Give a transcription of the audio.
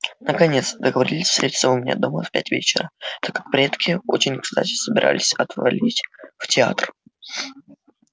наконец договорились встретиться у меня дома в пять вечера так как предки очень кстати собирались отвалить в театр